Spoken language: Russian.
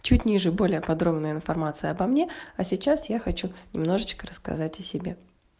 чуть ниже более подробная информация обо мне а сейчас я хочу немножечко рассказать о себе